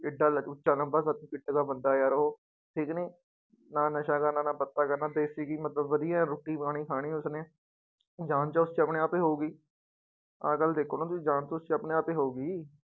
ਇੱਡਾ ਉੱਚਾ ਲੰਬਾ ਸੱਤ ਫੁੱਟ ਦਾ ਬੰਦਾ ਯਾਰ ਉਹ, ਠੀਕ ਨੀ ਨਾ ਨਸ਼ਾ ਕਰਨਾ ਨਾ ਪੱਤਾ ਕਰਨਾ ਦੇਸ਼ੀ ਘੀ ਮਤਲਬ ਵਧੀਆ ਰੋਟੀ ਪਾਣੀ ਖਾਣੀ ਉਸਨੇ, ਜਾਨ ਤਾਂ ਉਸ ਚ ਆਪਣੇ ਆਪ ਹੀ ਹੋਊਗੀ ਆਹ ਗੱਲ ਦੇਖੋ ਨਾ ਤੁਸੀਂ ਜਾਨ ਤਾਂ ਉਸ ਚ ਆਪਣੇ ਆਪ ਹੀ ਹੋਊਗੀ।